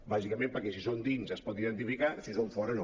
bàsicament perquè si són dins es poden identificar si són fora no